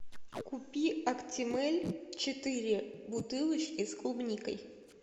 купи актимель четыре бутылочки с клубникой